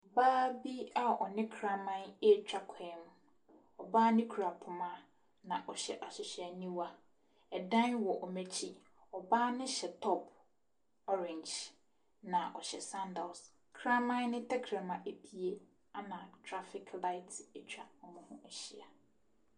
Ɔbaa bi a ɔne kraman retwa kwan mu. Ɔbaa no kura poma, na ɔhyw ahwehwɛniwa. Ɛdan wɔ wɔn akyi. Ɔbaa no hyɛ top orange. Na ɔhyɛ sandals. Kraman no tɛkyerɛma apue ama traffic light atwa wɔn ho ahyia.